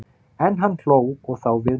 En hann hló, og þá við með.